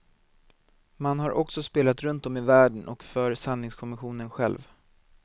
Man har också spelat runt om i världen och för sanningskommissionen själv.